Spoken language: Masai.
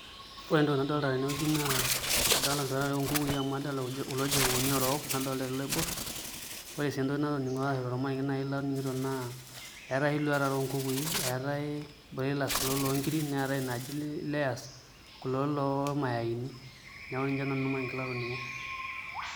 Ore entoki nadolita tenewueji naa adolita iluat are oonkukui amu adolita kulo shogooni oorok nadolita ele loiborr, ore sii entoki natoning'o ashu ormarenge latoning'o naa eetai oshi iluat are oonkukui eetai broilers kulo loonkiri neetai nena naaji layers kulo lormayaaini neeku ninye duo nanu ormarenge latoning'o.